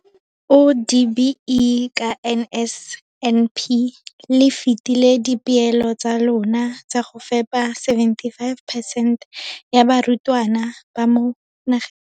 o, DBE, ka NSNP le fetile dipeelo tsa lona tsa go fepa 75 percent ya barutwana ba mo nageng.